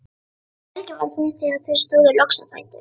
Helgi var feginn þegar þau stóðu loks á fætur.